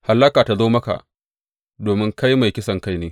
Hallaka ta zo maka domin kai mai kisankai ne!